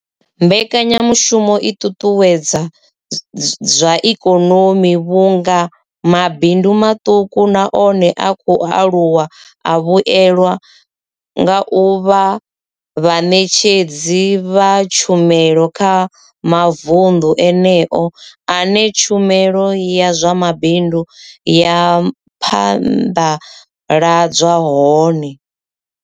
Mbekanyamushumo i ṱuṱuwedza zwa ikonomi vhunga mabindu maṱuku na one a khou aluwa a vhuelwa nga u vha vhaṋetshedzi vha tshumelo kha mavundu eneyo ane tshumelo ya zwa mabindu ya phanḓaladzwa hone.